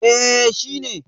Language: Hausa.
eh shi ne